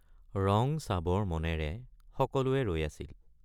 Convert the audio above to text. ৰং চাবৰ মনেৰে সকলোৱে ৰৈ আছিল।